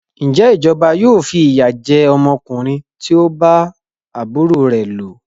Ǹjẹ́ ìjọba yóò fi ìyà jẹ ọmọkùnrin tí o bá àbúrò rẹ lò?